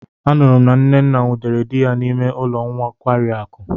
Anuru m na nnenna nwudere di ya n'ime ulo nkwari akụ.